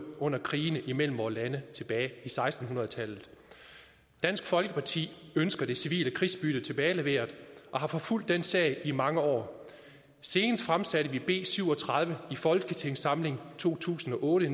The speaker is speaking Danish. under krigene imellem vore lande tilbage i seksten hundrede tallet dansk folkeparti ønsker det civile krigsbytte tilbageleveret og har forfulgt den sag i mange år senest fremsatte vi b syv og tredive i folketingssamlingen to tusind og otte